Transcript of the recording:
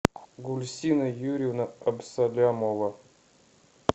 гульсина юрьевна абсолямова